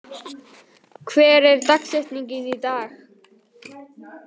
Mattína, hver er dagsetningin í dag?